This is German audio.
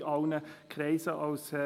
Die Erhebung ist schon etwas alt.